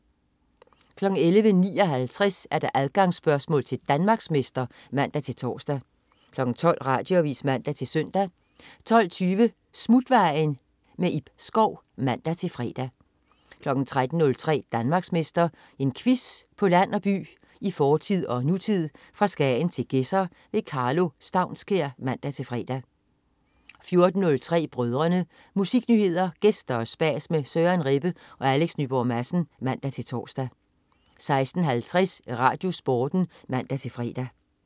11.59 Adgangsspørgsmål til Danmarksmester (man-tors) 12.00 Radioavis (man-søn) 12.20 Smutvejen. Ib Schou (man-fre) 13.03 Danmarksmester. En quiz på land og by, i fortid og nutid, fra Skagen til Gedser. Karlo Staunskær (man-fre) 14.03 Brødrene. Musiknyheder, gæster og spas med Søren Rebbe og Alex Nyborg Madsen (man-tors) 16.50 RadioSporten (man-fre)